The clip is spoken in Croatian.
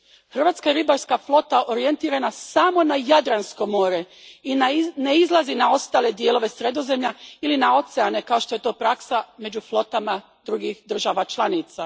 Hrvatska je ribarska flota orijentirana samo na Jadransko more i ne izlazi na ostale dijelove Sredozemlja ili na oceane kao što je to praksa među flotama drugih država članica.